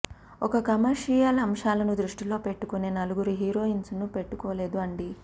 ఒక్క కమర్షియల్ అంశాలను దృష్టిలో పెట్టుకునే నలుగురు హీరోయిన్స్ ను పెట్టుకోలేదు అండి